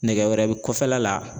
Nɛgɛ wɛrɛ bi kɔfɛla la